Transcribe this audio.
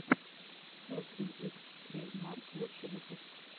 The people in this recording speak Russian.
эфлин икс трэйдмарк лучший выпуск